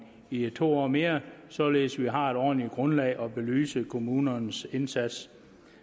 i to år mere således at vi har et ordentligt grundlag at belyse kommunernes indsats